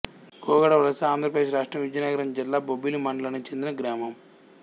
గొగడ వలసఆంధ్ర ప్రదేశ్ రాష్ట్రం విజయనగరం జిల్లా బొబ్బిలి మండలానికి చెందిన గ్రామం